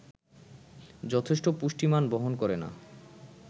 যথেষ্ট পুষ্টিমান বহন করে না